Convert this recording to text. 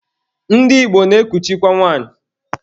Ndị Igbo na-ekuchikwa nwanyị.